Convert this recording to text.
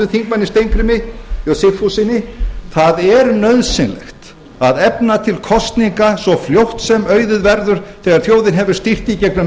þingmönnum steingrími j sigfússyni það er nauðsynlegt að efna til kosninga svo fljótt sem auðið verður þegar þjóðin hefur stýrt í gegnum